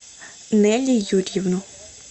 нелли юрьевну